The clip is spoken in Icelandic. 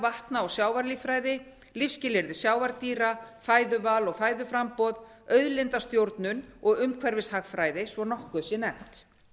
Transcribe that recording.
vatna og sjávarlíffræði lífsskilyrði sjávardýra fæðuval og fæðuframboð auðlindastjórnun og umhverfishagfræði svo að nokkuð sé nefnt